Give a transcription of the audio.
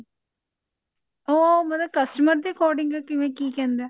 ਉਹ ਮਤਲਬ customer ਦੇ according ਕਿਵੇਂ ਕੀ ਕਹਿੰਦੇ